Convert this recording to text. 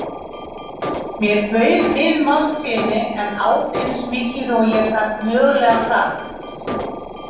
Mér bauð við máltíðinni en át eins mikið og ég mögulega gat.